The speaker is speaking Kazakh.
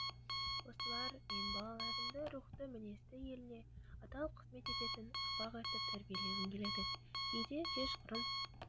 осылар мен балаларымды рухты мінезді еліне адал қызмет ететін ұрпақ етіп тәрбиелегім келеді кейде кешқұрым